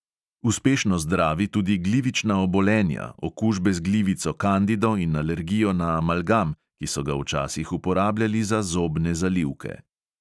Uspešno zdravi tudi glivična obolenja, okužbe z glivico kandido in alergijo na amalgam, ki so ga včasih uporabljali za zobne zalivke.